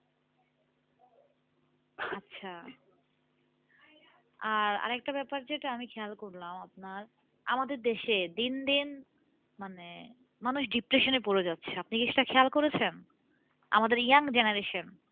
আচ্ছা আর আরেকটা ব্যাপার যেটা আমি খেয়াল করলাম আপনার আমাদের দেশে দিনদিন মানে মানুষ depression এ পরে যাচ্ছে আপনি কি সেটা খেয়াল করেছেন? আমাদের young generation